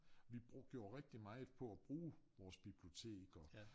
Vi brugte jo rigtig meget på at bruge vores bibliotek og